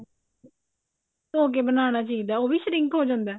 ਧੋ ਕਿ ਬਣਾਉਣਾ ਚਾਹੀਦਾ ਉਹ ਵੀ shrink ਹੋ ਜਾਂਦਾ